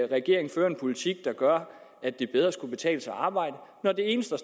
regeringen fører en politik der gør at det bedre skulle kunne betale sig at arbejde når den eneste